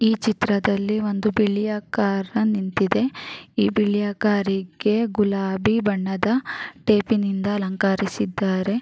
ಈ ಚಿತ್ರದಲ್ಲಿ ಒಂದು ಬಿಳಿಯ ಕಾರ್ ನಿಂತಿದೆ ಈ ಬಿಳಿಯ ಕಾರಿ ಗೆ ಗುಲಾಬಿ ಬಣ್ಣದ ಟೇಪಿ ನಿಂದ ಅಲಂಕರಿಸಿದ್ದಾರೆ --